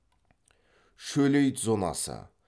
шөлейт зонасы